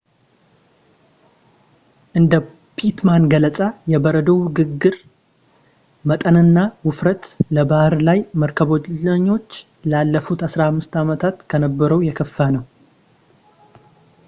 እንደ ፒትማን ገለፃ የበረዶው ግግር መጠንና ውፍረት ለባሕር ላይ መርከበኞች ላለፉት 15 ዓመታት ከነበረው የከፋ ነው